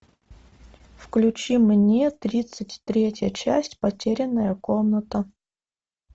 включи мне тридцать третья часть потерянная комната